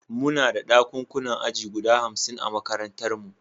Muna da ɗakunan aji guda hamsin a makarantarmu.